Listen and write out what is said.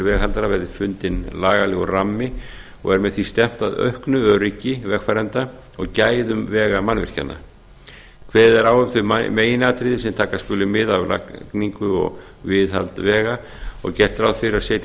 veghaldara verði fundinn lagalegur rammi og er með því stefnt að auknu öryggi vegfarenda og gæðum vegamannvirkjanna kveðið er á um þau meginatriði sem taka skuli mið af við lagningu og viðhaldi vega og gert ráð fyrir að setja